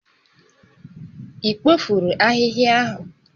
Ị kpofuru ahịhịa ahụ?